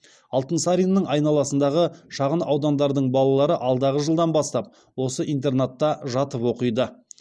алтынсариннің айналасындағы шағын ауылдардың балалары алдағы жылдан бастап осы интернатта жатып оқиды